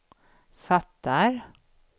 fattar